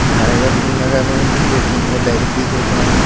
हेलमेट भी लगल है | दो तिन गो लड़की जो जा रहा है।